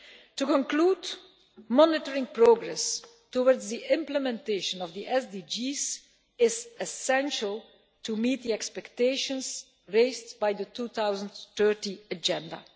To conclude, monitoring progress towards the implementation of the SDGs is essential to meet the expectations raised by the 2030 Agenda.